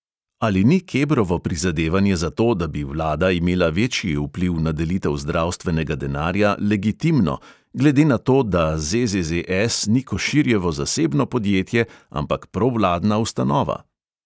Ali ni kebrovo prizadevanje za to, da bi vlada imela večji vpliv na delitev zdravstvenega denarja, legitimno, glede na to, da ZZZS ni koširjevo zasebno podjetje, ampak provladna ustanova?